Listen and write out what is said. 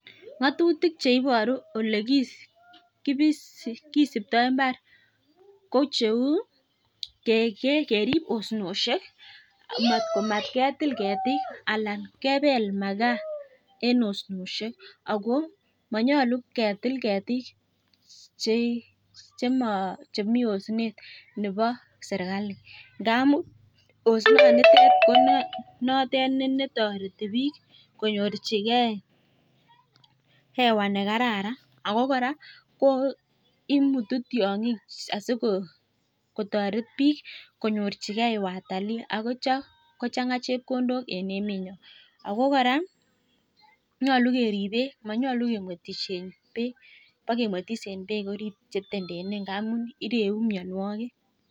Ngatutik cheiboru ole kisiptoi mbar ko cheu, kerip osnoshek komatketil ketik anan kepel makaa eng osnoshek. Ako manyolu ketil ketik chemi osnet nebo serkali ngamun osnonitet ne toreti biik konyorchikei ewa nekararan. Ako kora imutu ting'ik asikotoret biik konyorchikei watalii akotio kochanga chepkondok eng emenyo. Ako kora ko nyolu kerip beek manyolu kemwetishe beek, bekemwetis eng beek che itentenei amu ireu mianwogik.